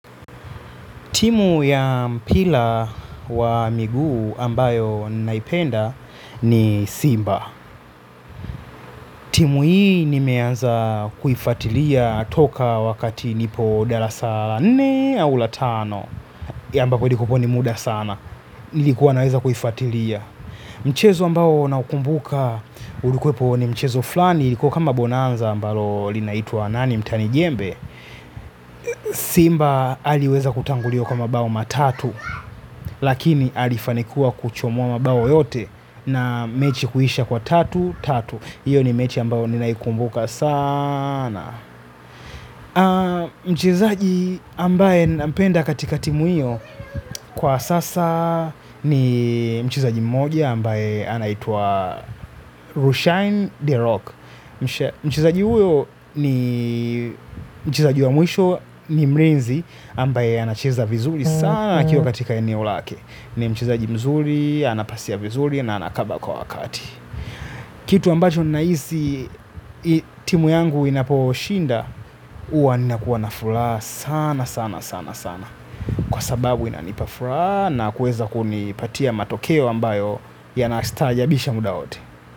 Timu ya mpila wa miguu ambayo naipenda ni Simba. Timu hii nimeanza kuifatilia toka wakati nipo dalasa la nne au la tano. Yamba kwenye kuponi muda sana. Nilikuwa naweza kuifuatilia. Mchezo ambao n ukumbuka ulikuwepo ni mchezo flani. Kwa kama bonanza ambalo linaitwa nani mtani jembe, Simba aliweza kutanguliwa kwa mabao matatu. Lakini alifanikiwa kuchomuwa mabao yote. Na mechi kuhisha kwa tatu, tatu. Iyo ni mechi ambayo ninaikumbuka sana. Mchizaji ambaye napenda katika timu iyo kwa sasa ni mchizaji mmoja ambaye anaitwa Rushain De Rock. Mchezaji uyo ni mchizaji wa mwisho ni mrinzi ambaye anacheza vizuri sana akiwa katika eniolake. Ni mchezaji mzuri, anapasia vizuri na anakaba kwa wakati. Kitu ambacho nahisi timu yangu inaposhinda huwa nakuwa na furaha sana sana sana kwa sababu inanipa furaha nakuweza kunipatia matokeo ambayo yanastaajabisha muda wote.